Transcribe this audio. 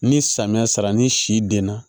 Ni samiya sera ni si denna